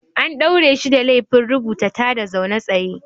An ɗaure shi da laifin rubuta tada zaune tsaye.